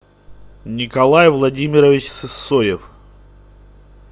николай владимирович сысоев